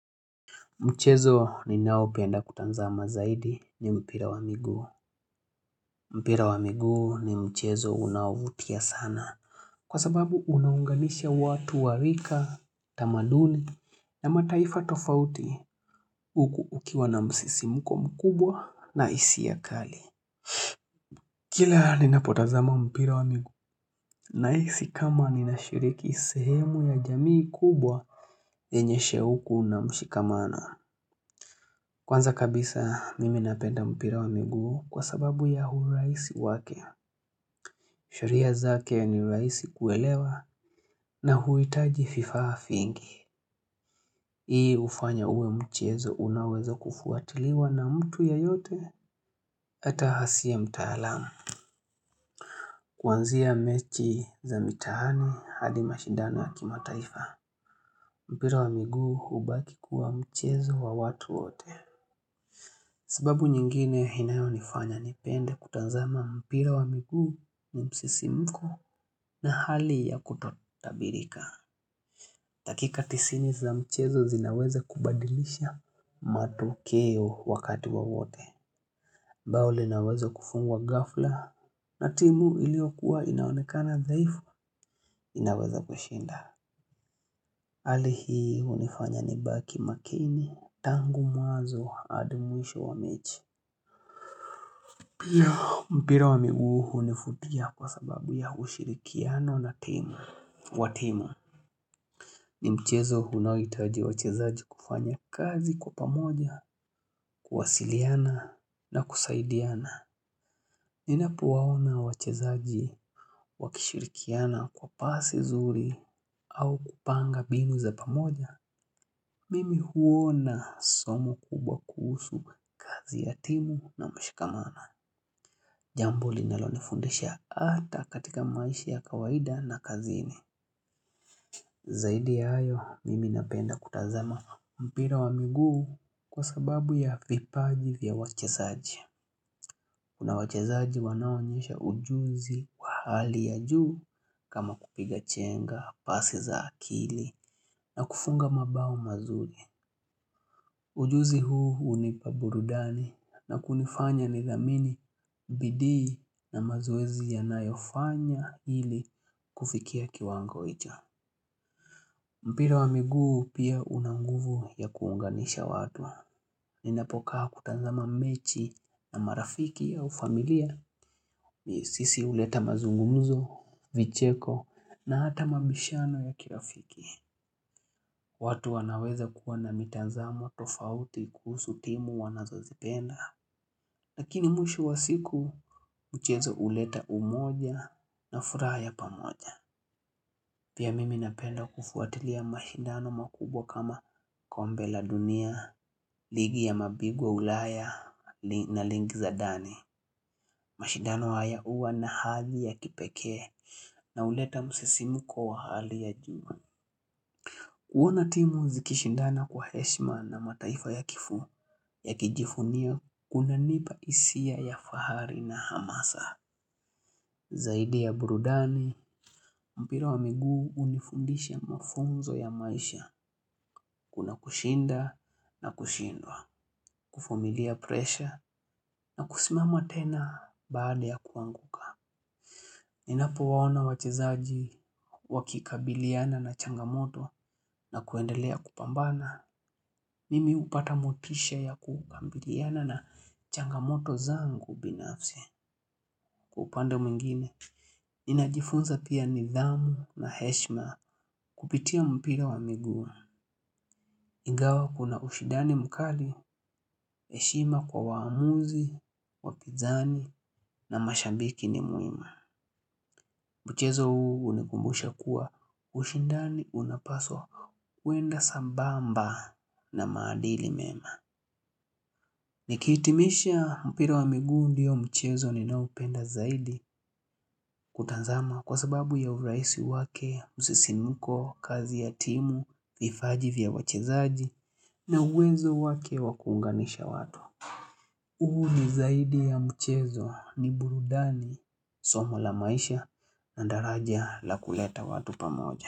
Mchezo ni naopenda kutazama zaidi ni mpira wa miguu. Mpira wa miguu ni mchezo unaovutia sana. Kwa sababu unaunganisha watu warika, tamaduni na mataifa tofauti uku ukiwa na msisimko mkubwa na hiisi kali. Kila nina potazama mpira wa miguu nahisi kama nina shiriki sehemu ya jamii kubwa yenye shauku na mshikamana. Kwanza kabisa mimi napenda mpira wa miguu kwa sababu ya uraisi wake. Sheria zake ni rahisi kuelewa na huitaji fifa hafingi. Hii hufanya uwe mchezo unawezo kufuatiliwa na mtu yeyote ata asiye mtaalamu. Kuanzia mechi za mitaani hadi mashidana ya kimataifa. Mpira wa miguu hubaki kuwa mchezo wa watu wote. Sababu nyingine inayo nifanya nipende kutazama mpira wa miguu ni msisimko na hali ya kutotabirika. Dakika tisini za mchezo zinaweza kubadilisha matokeo wakati wowote. Mbao linaweza kufungwa gafla na timu iliokua inaonekana thaifu inaweza kushinda. Hali hii hunifanya nibaki makini tangu mwnazo adi mwisho wa mechi. Pia mpira wa miguu hunivutia kwa sababu ya kushirikiano na timu wa timu ni mchezo unahitaji wachezaji kufanya kazi kwa pamoja, kuwasiliana na kusaidiana Ninapowaona wachezaji wakishirikiana kwa pasi zuri au kupanga mbimu za pamoja Mimi huona somo kubwa kuhusu kazi ya timu na mshikamana Jambo linalonifundisha ata katika maisha ya kawaida na kazini Zaidi ya hayo mimi napenda kutazama mpira wa miguu kwa sababu ya vipaji vya wachezaji Kuna wachezaji wanaoonyesha ujuzi wa hali ya juu kama kupiga chenga pasi za akili na kufunga mabao mazuri Ujuzi huu hunipa burudani na kunifanya ni dhamini bidii na mazoezi yanayofanya ili kufikia kiwango icho. Mpira wa miguu pia una nguvu ya kuunganisha watu. Ninapokaa kutanzama mechi na marafiki au familia. Ni sisi huleta mazungumzo, vicheko na hata mabishano ya kirafiki. Watu wanaweza kuwa na mitazamo tofauti kuhusu timu wanazozipenda. Lakini mwisho wa siku mchezo huleta umoja na furaha ya pamoja. Pia mimi napenda kufuatilia mashindano makubwa kama kombe la dunia, ligi ya mabigwa ulaya na ligi za ndani. Mashindano haya huwa na hadhi ya kipekee na huleta msisimko wa hali ya juu. Kuona timu zikishindana kwa heshima na mataifa yakijivunia kunanipa hisia ya fahari na hamasa. Zaidi ya burudani, mpira wa miguu unifundisha mafunzo ya maisha kuna kushinda na kushindwa, kuvumilia presha na kusimama tena baada ya kuanguka. Ninapo waona wachezaji wakikabiliana na changamoto na kuendelea kupambana. Mimi hupata motisha ya kukabiliana na changamoto zangu binafsi kwa upanda mwingine. Ninajifunza pia nidhamu na heshima kupitia mpira wa miguu. Ingawa kuna ushidani mkali, heshima kwa waamuzi, wapinzani na mashabiki ni mwema. Mchezo huu unikumbusha kua ushindani unapaswa kuenda sambamba na maadili mema. Nikitimisha mpira wa miguu ndiyo mchezo ninaoupenda zaidi kutanzama kwa sababu ya urahisi wake msisimko, kazi ya timu, vipaji vya wachezaji na uwezo wake wakuunganisha watu. Huu ni zaidi ya mchezo ni burudani somo la maisha na daraja la kuleta watu pamoja.